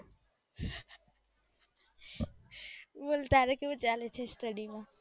બોલ તારે કેવું ચાલે છે study માં